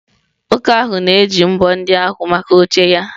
Nwoke ahụ na-eji mbọ ndị ahụ maka oche ya